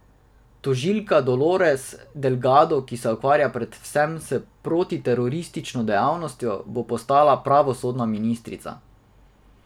Tožilka Dolores Delgado, ki se ukvarja predvsem s protiteroristično dejavnostjo, bo postala pravosodna ministrica.